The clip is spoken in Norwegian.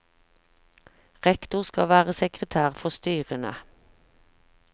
Rektor skal være sekretær for styrene.